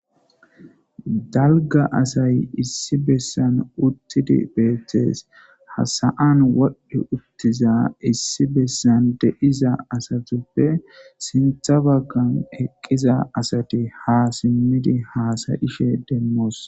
Daligga assayi issi bessani utidi betesi, ha sa'ani wodhi utidda assayi sintha baggani eqida assati ha simidi hassayishe deyosona.